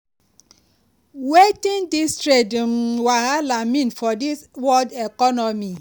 wetin dis trade um wahala mean for di world economy?